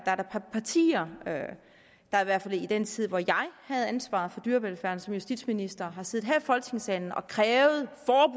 partier der i hvert fald i den tid hvor jeg havde ansvaret for dyrevelfærden som justitsminister har siddet her i folketingssalen og krævet